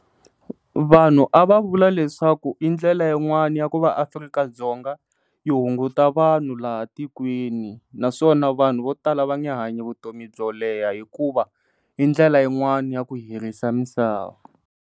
Vanhu a va vula leswaku i ndlela yin'wani ya ku va Afrika-Dzonga yi hunguta vanhu laha tikweni, naswona vanhu vo tala a va nge hanyi vutomi byo leha hikuva indlela yin'wani ya ku herisa misava.